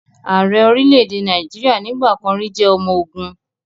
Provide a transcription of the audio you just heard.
Ààrẹ orílẹ̀-èdè Nàìjíríà nígbà kan rì jẹ́ ọmọ ogun